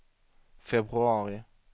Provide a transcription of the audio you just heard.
februari